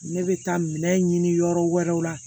Ne bɛ taa minɛn ɲini yɔrɔ wɛrɛw la